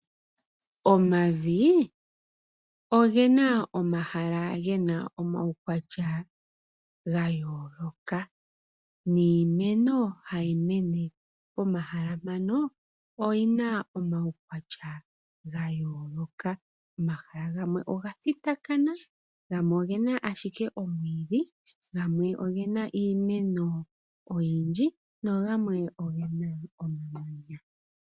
Omavi ogena omahala gena omaukwatya gayooloka. Niimeno hayi mene pomahala mpaka oyina omaukwatya gayooloka . Omahala gamwe oga thitakana , gamwe ogena ashike omwiidhi, gamwe ogena iimeno oyindji nogamwe ogena omamanya.